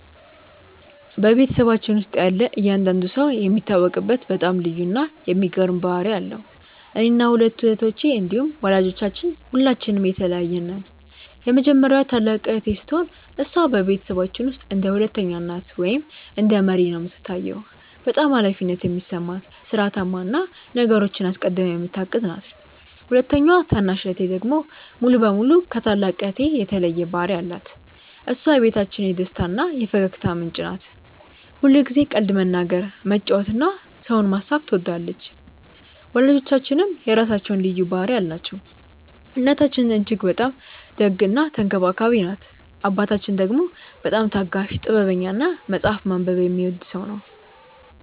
በቤተሰባችን ውስጥ ያለ እያንዳንዱ ሰው የሚታወቅበት በጣም ልዩ እና የሚገርም ባህሪ አለው። እኔና ሁለቱ እህቶቼ እንዲሁም ወላጆቻችን ሁላችንም የተለያየን ነን። የመጀመሪያዋ ታላቅ እህቴ ስትሆን፣ እሷ በቤተሰባችን ውስጥ እንደ ሁለተኛ እናት ወይም እንደ መሪ ነው የምትታየው። በጣም ኃላፊነት የሚሰማት፣ ሥርዓታማ እና ነገሮችን አስቀድማ የምታቅድ ናት። ሁለተኛዋ ታናሽ እህቴ ደግሞ ሙሉ በሙሉ ከታላቅ እህቴ የተለየ ባህሪ አላት። እሷ የቤታችን የደስታ እና የፈገግታ ምንጭ ናት። ሁልጊዜ ቀልድ መናገር፣ መጫወት እና ሰውን ማሳቅ ትወዳለች። ወላጆቻችንም የራሳቸው ልዩ ባህሪ አላቸው። እናታችን እጅግ በጣም ደግ እና ተንከባካቢ ናት። አባታችን ደግሞ በጣም ታጋሽ፣ ጥበበኛ እና መጽሐፍ ማንበብ የሚወድ ሰው ነው።